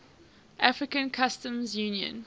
african customs union